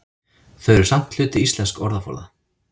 Þau eru samt hluti íslensks orðaforða.